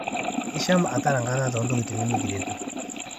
Isham atara nkata teentokitin nimekiretu